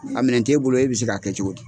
A minɛn t'e bolo e bɛ se k'a kɛ cogo di.